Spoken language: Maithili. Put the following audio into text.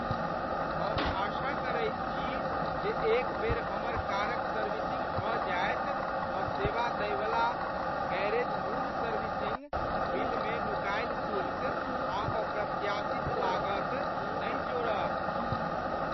हम आशा करैत छी जे एक बेर हमर कारक सर्विसिङ्ग भऽ जायत तँ सेवा दैवला गैरेज मूल सर्विसिङ्ग बिलमे नुकायल शुल्क आ अप्रत्याशित लागत नहि जोड़त।